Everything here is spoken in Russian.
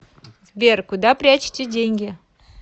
сбер куда прячете деньги